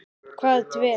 Hvað dvelur?